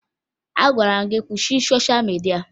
Agwara m gị kwụsị sosha midia!